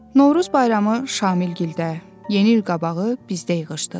Novruz bayramı Şamilgilədə, yeni il qabağı bizdə yığışdıq.